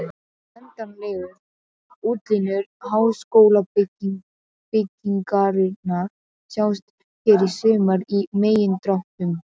Endanlegar útlínur háskólabyggingarinnar sjást hér sumar í megindráttum.